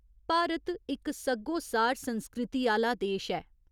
भारत इक सग्गोसार संस्कृति आह्‌ला देश ऐ।